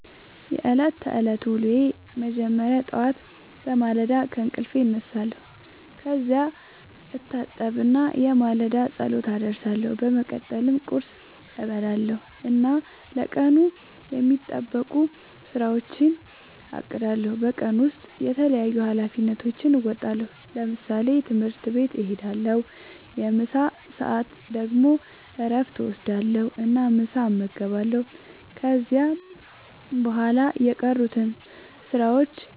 የዕለት ተዕለት ዉሎየ መጀመሪያ ጠዋት በማለዳ ከእንቅልፌ እነሳለሁ። ከዚያ እታጠብና የማለዳ ጸሎት አደርሳለሁ። በመቀጠልም ቁርስ እበላለሁ እና ለቀኑ የሚጠበቁ ሥራዎቼን አቅዳለሁ። በቀን ውስጥ የተለያዩ ኃላፊነቶቼን እወጣለሁ። ለምሳሌ፦ ትምህርት ቤት እሄዳለሁ። በምሳ ሰዓት ደግሞ እረፍት እወስዳለሁ እና ምሳ እመገባለሁ። ከዚያ በኋላ የቀሩትን ሥራዎች